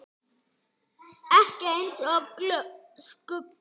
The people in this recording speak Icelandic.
Ekki eins og skuggi.